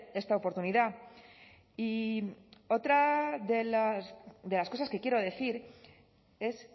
esta oportunidad y otra de las cosas que quiero decir es